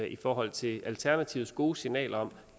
i forhold til alternativets gode signal om